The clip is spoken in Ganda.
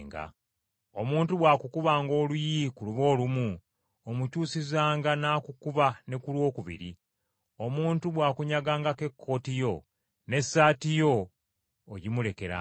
Omuntu bw’akukubanga oluyi ku luba olumu, omukyusizanga n’akukuba ne ku lwokubiri! Omuntu bw’akunyagangako ekkooti yo, n’essaati yo ogimulekeranga.